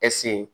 ɛsike